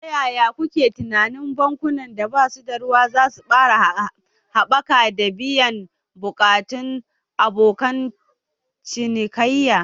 Ta yaya kuke tunanin bankunan da ba su da ruwa za su ƙara haɓaka da biyan buƙatun abokan cinikayya?